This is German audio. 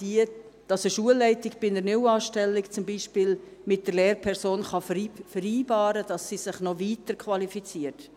Eine Schulleitung kann bei einer Neuanstellung mit der Lehrperson vereinbaren, dass sie sich noch weiter qualifiziert.